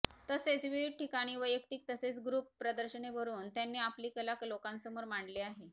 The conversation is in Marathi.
तसेच विविध ठिकाणी वैयक्तिक तसेच ग्रुप प्रदर्शने भरवून त्यांनी आपली कला लोकांसमोर मांडली आहे